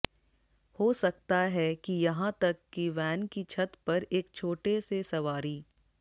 हो सकता है कि यहां तक कि वैन की छत पर एक छोटे से सवारी